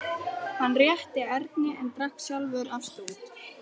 Hann rétti Erni en drakk sjálfur af stút.